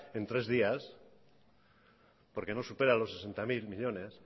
en tres días porque no supera los sesenta mil millónes